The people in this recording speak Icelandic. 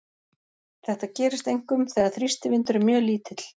Þetta gerist einkum þegar þrýstivindur er mjög lítill.